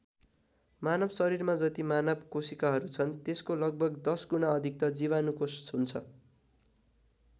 मानव शरीरमा जति मानव कोशिकाहरू छन् त्यसको लगभग १० गुणा अधिक त जीवाणु कोष हुन्छ।